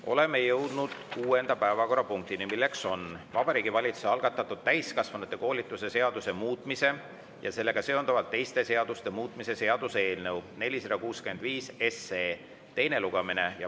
Oleme jõudnud kuuenda päevakorrapunktini, milleks on Vabariigi Valitsuse algatatud täiskasvanute koolituse seaduse muutmise ja sellega seonduvalt teiste seaduste muutmise seaduse eelnõu 465 teine lugemine.